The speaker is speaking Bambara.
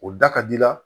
O da ka di i la